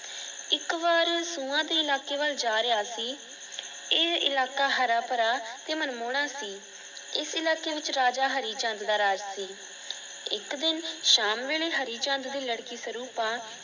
ਇਕ ਬਾਰ ਸੁਆ ਦੇ ਇਲਾਕੇ ਬਲ ਜਾ ਰਿਯਾ ਸੀ। ਇਹ ਇਲਾਕਾ ਹਰਾ ਭਰਾ ਤੇ ਮਨਮੋਣਾ ਸੀ। ਇਸ ਇਲਾਕੇ ਵਿਚ ਰਾਜਾ ਹਰੀਚੰਦ ਦਾ ਰਾਜ ਸੀ। ਇਕ ਦਿਨ ਸ਼ਾਮ ਵੇਲੇ ਹਰੀਚੰਦ ਦੀ ਲੜਕੀ ਸਰੂਪਾ